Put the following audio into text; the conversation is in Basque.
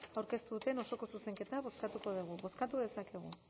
aurkeztu duten osoko zuzenketa bozkatuko dugu bozkatu dezakegu